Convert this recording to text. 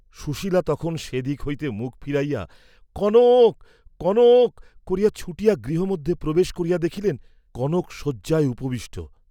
সুশীলা তখন সে দিক হইতে মুখ ফিরাইয়া কনক, কনক করিয়া ছুটিয়া গৃহমধ্যে প্রবেশ করিয়া দেখিলেন, কনক শয্যায় উপবিষ্ট।